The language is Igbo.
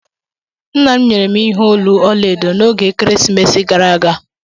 Nna m nyere m ihe olu ọla edo n'oge ekeresimesi gara aga.